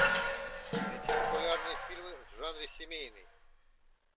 найти популярные фильмы в жанре семейный